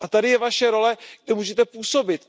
Tady je Vaše role, kde můžete působit.